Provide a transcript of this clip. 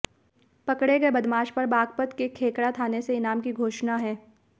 पकड़े गए बदमाश पर बागपत के खेकड़ा थाने से इनाम की घोषणा है